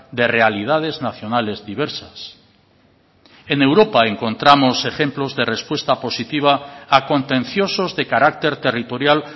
de realidades nacionales diversas en europa encontramos ejemplos de respuesta positiva a contenciosos de carácter territorial